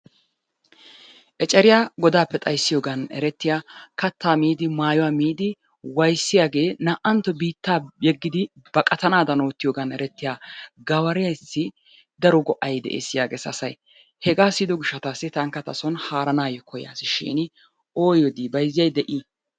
Eceriya godaappe xayissiyogan erettiya kattaa miiddi mayuwa miidi wayissiyagee naa"antto biittaa yeggidi baqatanaadan oottiyogan erettiya gawaraassi daro go'ay des yaages asay. Hegaa siyido gishshataassi tankka tason haaranaayyo koyyaasishiini oyyoo dii bayizziyay de'i?